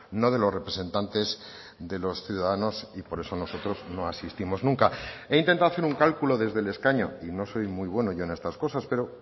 no de los representantes de los ciudadanos y por eso nosotros no asistimos nunca he intentado hacer un cálculo desde el escaño y no soy muy bueno yo en estas cosas pero